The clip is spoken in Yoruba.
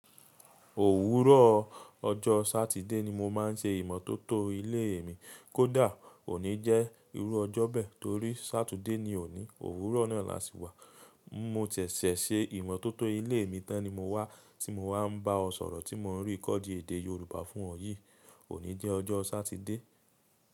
Òwúrọ̀ ọjọ́ Sátidé ni mo máa ń ṣe ìmọ́tótó ilé mi. Kódà óní jẹ́ ìrú ọjọ́ bẹ́ẹ̀ torí Sátidé ni òní. Òwúrọ̀ náà la ṣì wà. Mo sẹ̀sẹ̀ ṣe ìmọ́tótó ilé mi tán ni mo wá tí mo wá ń bá ọ sọ̀rọ̀ tí mò ń rí kọ́ di èdè Yorùbá fún ọ yìí. Óní jẹ́ ọjọ́ Sátidé.